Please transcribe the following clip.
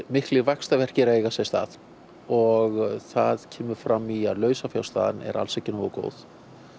miklir vaxtaverkir að eiga sér stað og það kemur fram í að lausafjárstaðan er alls ekki nógu góð